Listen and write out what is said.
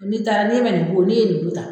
N'i taara ni ma nin ko, ni ye nin ta.